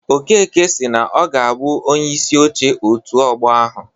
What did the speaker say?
Okeke si na ọ ga-abụ Onyeisi Oche òtù Ọgbọ ahụ.